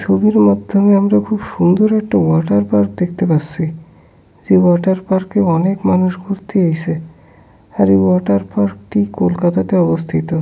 ছবির মাধ্যমে আমরা খুব সুন্দর একটা ওয়াটার পার্ক দেখতে পাচ্ছি যে ওয়াটার পার্ক এ অনেক মানুষ ঘুরতে এসে আর এই ওয়াটার পার্ক টি কলকাতাতে অবস্থিত।